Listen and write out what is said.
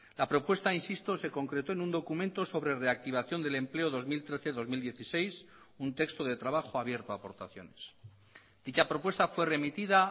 la propuesta insisto se concretó en un documento sobre reactivación del empleo dos mil trece dos mil dieciséis un texto de trabajo abierto a aportaciones dicha propuesta fue remitida